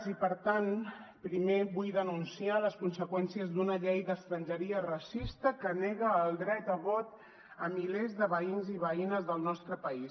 i per tant primer vull denunciar les conseqüències d’una llei d’estrangeria racista que nega el dret a vot a milers de veïns i veïnes del nostre país